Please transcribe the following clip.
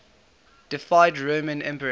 deified roman emperors